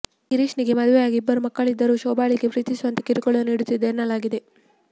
ಗಿರೀಶ್ನಿಗೆ ಮದುವೆಯಾಗಿ ಇಬ್ಬರು ಮಕ್ಕಳಿದ್ದರೂ ಶೋಭಾಳಿಗೆ ಪ್ರೀತಿಸುವಂತೆ ಕಿರುಕುಳ ನೀಡುತ್ತಿದ್ದ ಎನ್ನಲಾಗಿದೆ